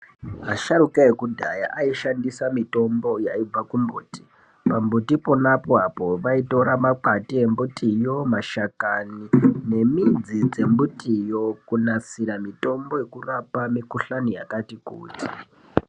Vasharukwa vekudhaya aishandisa mitombo yaibva mumumbuti. pamumbuti pona apapo vaitora makwati embuti yo, mashakani ne midzi dzembiti yo kunaisira mitombo yekurapa mikuhlani yakati kuti.